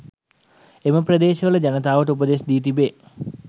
එම ප්‍රදේශවල ජනතාවට උපදෙස් දී තිබේ.